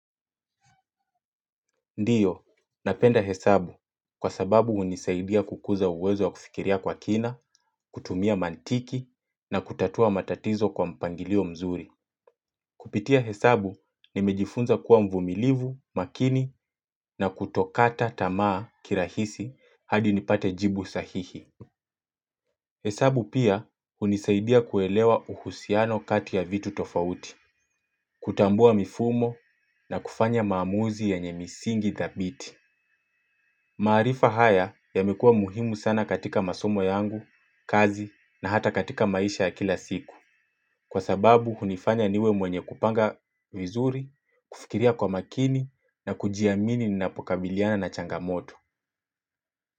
Ndiyo, napenda hesabu kwa sababu unisaidia kukuza uwezo wa kufikiria kwa kina, kutumia mantiki na kutatua matatizo kwa mpangilio mzuri. Kupitia hesabu nimejifunza kuwa mvumilivu makini na kutokata tamaa kirahisi hadi nipate jibu sa hihi. Hesabu pia unisaidia kuelewa uhusiano kati ya vitu tofauti, kutambua mifumo na kufanya maamuzi yenyemisingi thabiti. Maarifa haya ya mekuwa muhimu sana katika masomo yangu, kazi na hata katika maisha ya kila siku. Kwa sababu hunifanya niwe mwenye kupanga vizuri, kufikiria kwa makini na kujiamini ni napokabiliana na changamoto.